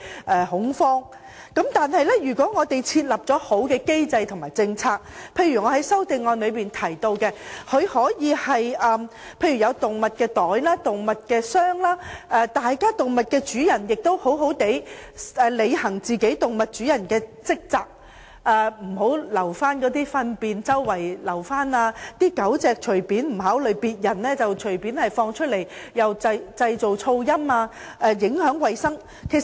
但是，如果政府有良好的機制及政策，例如，我在修正案提到寵物袋或寵物箱，動物主人也要好好履行主人的責任，不要隨處遺留動物糞便，不考慮別人的感受，任由狗隻到處奔跑、製造噪音及影響衞生。